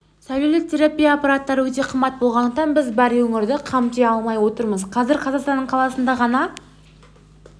сәулелі терапия аппараттары өте қымбат болғандықтан біз бар өңірді қамти алмай отырмыз қазір қазақстанның қаласында ғана